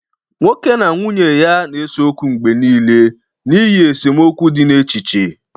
nwoke na nwunye ya na-ese okwu mgbe nile n'ihi esemokwu dị n'echiche